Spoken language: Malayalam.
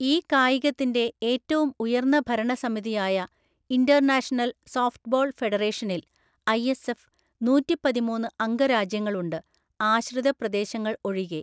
ഈ കായികത്തിന്റെ ഏറ്റവും ഉയർന്ന ഭരണസമിതിയായ ഇന്റർനാഷണൽ സോഫ്റ്റ്‌ബോൾ ഫെഡറേഷനിൽ (ഐഎസ്എഫ്) നൂറ്റിപ്പതിമൂന്ന് അംഗരാജ്യങ്ങളുണ്ട് (ആശ്രിത പ്രദേശങ്ങൾ ഒഴികെ).